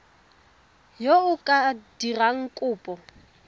yo o ka dirang kopo